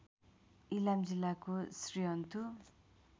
इलाम जिल्लाको श्रीअन्तु